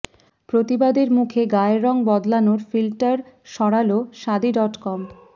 প্রতিবাদের মুখে গায়ের রং বদলানোর ফিল্টার সরালো শাদী ডট কম